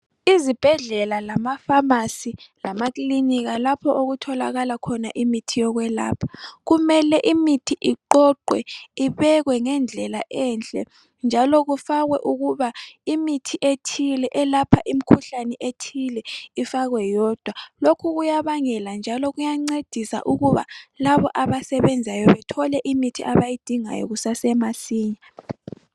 Izibhedlela lama famasi lamakilinika lapho okutholakala khona imithi yokwelapha, kumele imithi iqoqwe ibekwe ngendlela enhle njalo kufakwe ukuba imithi ethile elapha imkhuhlane ethile ifakwe yodwa. Lokhu kuyabangela njalo kuyancedisa ukuba labo abasebenzayo bethole imithi abayidingayo kusasemasinya.